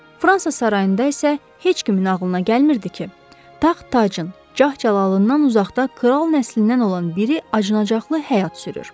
Fransa sarayında isə heç kimin ağlına gəlmirdi ki, taxt tacın cah-cəlalından uzaqda kral nəslindən olan biri acınacaqlı həyat sürür.